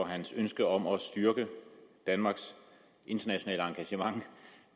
hans ønske om at styrke danmarks internationale engagement